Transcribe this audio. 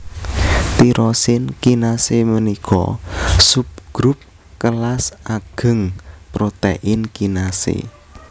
Tirosin kinasé ménika subgrup kélas agéng protèin kinasé